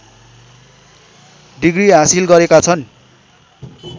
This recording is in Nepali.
डिग्री हासिल गरेका छन्